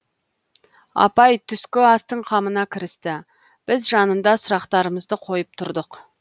апай түскі астың қамына кірісті біз жанында сұрақтарымызды қойып тұрдық